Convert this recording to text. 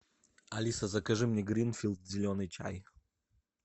алиса закажи мне гринфилд зеленый чай